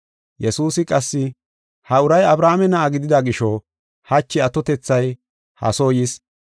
Yesuusi qassi, “Ha uray Abrahaame na7a gidida gisho hachi atotethay ha soo yis.